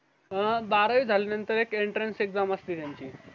अह बारावी झाल्या नंतर एक enterens exam असते त्यांची